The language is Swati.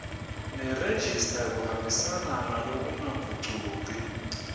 nerejista kuhambisana ngalokungagucuki